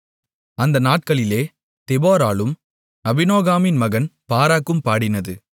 அந்த நாட்களிலே தெபொராளும் அபினோகாமின் மகன் பாராக்கும் பாடினது